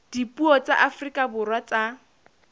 dipuo tsa afrika borwa tsa